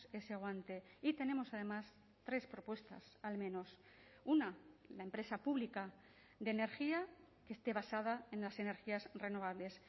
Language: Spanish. ese guante y tenemos además tres propuestas al menos una la empresa pública de energía que esté basada en las energías renovables